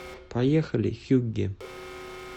поехали хюгге